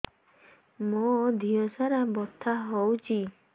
ମୋ ଦିହସାରା ବଥା ହଉଚି